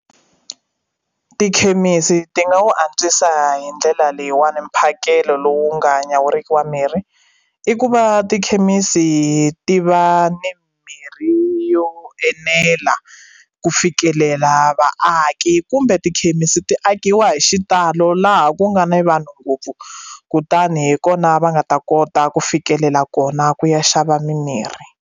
Tikhemisi ti nga wu antswisa hi ndlela leyiwani mphakelo lowu nga nyawuriki wa mirhi i ku va tikhemisi ti va ni mirhi yo enela ku fikelela vaaki kumbe tikhemisi ti akiwa hi xitalo laha ku nga ni vanhu ngopfu kutani hi kona va nga ta kota ku fikelela kona ku ya xava mimirhi.